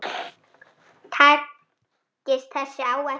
Takist þessi áætlun